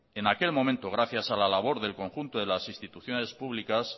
en aquel momento gracias a la labor del conjunto de las instituciones públicas